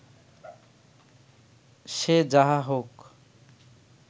সে যাহা হউক